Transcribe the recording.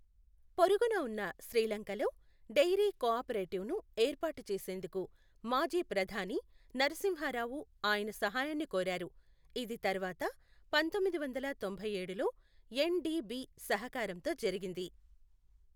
పొరుగున ఉన్న శ్రీలంకలో డెయిరీ కోఆపరేటివ్ను ఏర్పాటు చేసేందుకు మాజీ ప్రధాని నరసింహారావు ఆయన సహాయాన్ని కోరారు, ఇది తర్వాత పంతొమ్మిది వందల తొంభై ఏడులో ఎన్డిడిబి సహకారంతో జరిగింది.